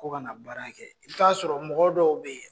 Ko ka na baara kɛ, i bɛt'a sɔrɔ mɔgɔ dɔw bɛ yen.